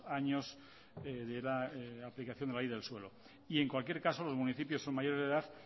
años de aplicación de la ley del suelo y en cualquier caso los municipios son mayores de edad